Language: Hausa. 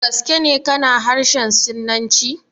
Da gaske ne ka na harshen Sinanci?